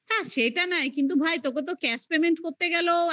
হ্যাঁ সেটা নয় কিন্তু ভাই তোকে তো cash payment করতে গেল. এখন